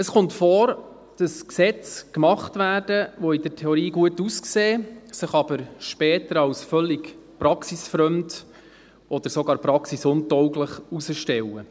Es kommt vor, dass Gesetze gemacht werden, die in der Theorie gut aussehen, sich aber später als völlig praxisfremd oder sogar praxisuntauglich herausstellen.